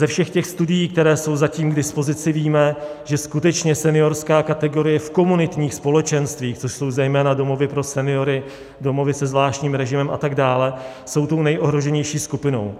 Ze všech těch studií, které jsou zatím k dispozici, víme, že skutečně seniorská kategorie v komunitních společenstvích, což jsou zejména domovy pro seniory, domovy se zvláštním režimem, a tak dále, jsou tou nejohroženější skupinou.